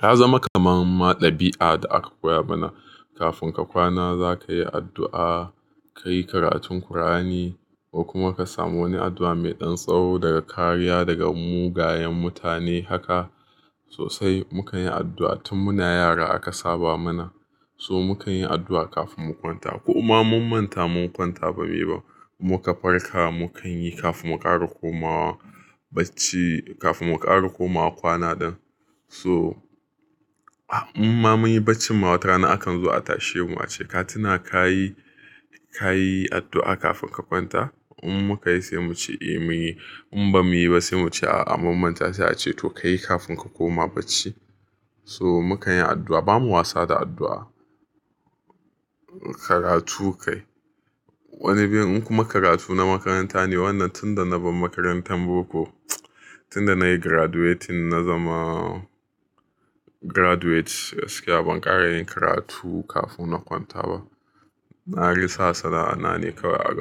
ta zama kamar ɗabi'a da aka koya mana. Kafin ka kwana za ka yi addu'a, ka yi karatun Kur'ani ko kuma ka samu wani addu'a mai ɗan tsawo daga kariya daga mugayen mutane. Haka sosai mu kan yi addu'a tun muna yara aka saba mana. So mu kan yi addu'a kafin mu kwanta. Kuma mun manta mun kwanta ba sai muka farka mu kan yi kafin mu ƙara komawa bacci, kafin mu ƙara komawa kwana. Don so in mun yi bacci, mu hau rana akan zo a tashe mu a ce ka tuna ka yi, ka yi addu'a kafin ka kwanta. In mun kai sai mu ce eh mun yi. In ba mu yi ba sai mu ce a'a mun manta sai a ce to ka yi kafin ka koma bacci. So mu kan yi addu'a, ba mu wasa da addu'a. Karatu kai, wani bin, in kuma karatu na makaranta ne. Wannan tunda na bar makarantar boko, tunda na yi graduate, na zama graduate gaskiya ban ƙara yin karatu kafin na kwanta ba. Na risa sana'a na ne kawai a gaba.